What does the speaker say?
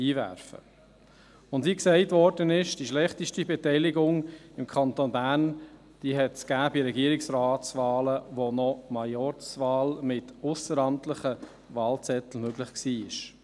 Wie erwähnt worden ist, kam es im Kanton Bern zur schlechtesten Wahlbeteiligung bei Regierungsratswahlen, als Majorzwahlen mit ausseramtlichen Wahlzetteln noch möglich waren.